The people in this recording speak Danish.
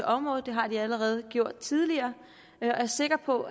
området det har de gjort tidligere og jeg er sikker på